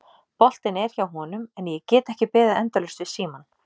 Boltinn er hjá honum en ég get ekki beðið endalaust við símann.